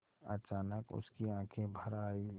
अचानक उसकी आँखें भर आईं